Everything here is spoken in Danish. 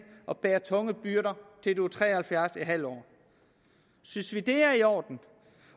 og bære tunge byrder til du er tre og halvfjerds en halv år synes vi det er i orden